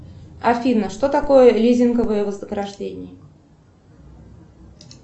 афина что такое лизинговое вознаграждение